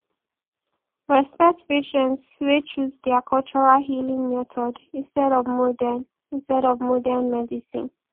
respect patience wey choose their cultural healing method instead of modern instead of modern medicine